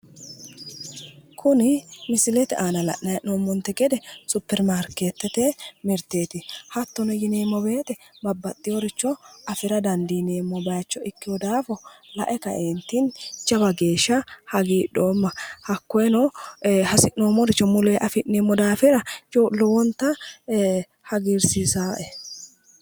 Kuni misilete aana la'nayi hee'noommonte gede supperimaarkeettete mirteeti. Hattono yineemmo woyite babbaxxiworicho afira dandiineemmo bayicho ikkiwo daafo lae kaeentinni jawa geeshsha hagiidhoomma. Hakkoyeno hasi'noommoricho muleyi afi'neemmo daafira lowonta hagiirsiisawoe.